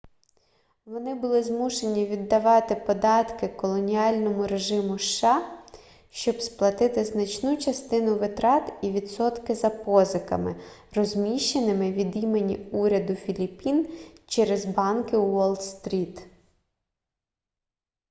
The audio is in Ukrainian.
вони були змушені віддавати податки колоніальному режиму сша щоб сплатити значну частину витрат і відсотки за позиками розміщеними від імені уряду філіппін через банки уолл-стріт